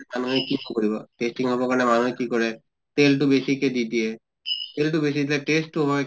তাৰ মানে কি কি কৰিব tasty হʼব কাৰণে মানুহে কি কৰে তেল টো বেছিকে দি দিয়ে। তেল টো বেছি দিলে taste তো হয়